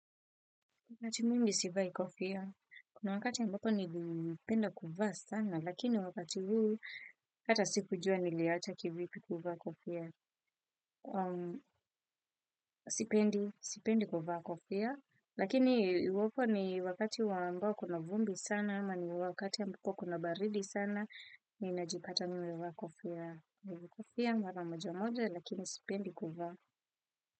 Wakati mimi sivai kofia. Kuna wakati nilikuwa nipelinda kuvaa sana, lakini wakati huu hata sikujua niliacha kivipi kuvaa kofia. Sipendi, sipendi kuvaa kofia. Lakini wakati wa ambao kuna vumbi sana, ama ni wakati ambako kuna baridi sana, ninajipata nimevaa kofia. Kofia, mara moja moja, lakini sipendi kuvaa.